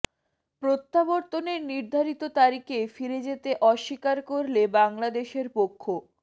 প্রত্যাবর্তনের নির্ধারিত তারিখে ফিরে যেতে অস্বীকার করলে বাংলাদেশের পক্ষ